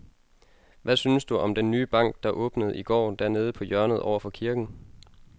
Hvad synes du om den nye bank, der åbnede i går dernede på hjørnet over for kirken?